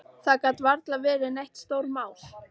Það gat varla verið neitt stórmál.